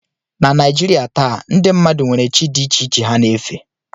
Na Naijiria taa, ndị mmadụ nwere chi dị iche iche ha na-efe